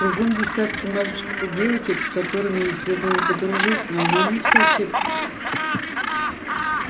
кругом десятки мальчиков и девочек с которыми ей следовало бы дружить но она не хочет